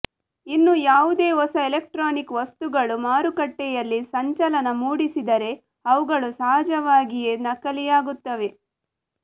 ಇನ್ನು ಯಾವುದೇ ಹೊಸ ಎಲೆಕ್ಟ್ರಾನಿಕ್ ವಸ್ತುಗಳು ಮಾರುಕಟ್ಟೆಯಲ್ಲಿ ಸಂಚಲನ ಮೂಡಿಸಿದರೆ ಅವುಗಳು ಸಹಜವಾಗಿಯೇ ನಕಲಿಯಾಗುತ್ತವೆ